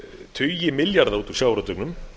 tugi milljarða út úr sjávarútveginum